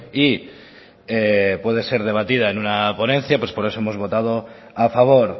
y puede ser debatida en una ponencia pues por eso hemos votado a favor